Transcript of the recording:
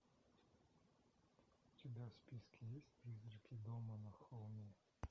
у тебя в списке есть призраки дома на холме